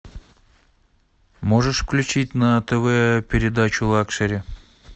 можешь включить на тв передачу лакшери